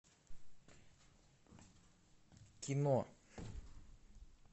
кино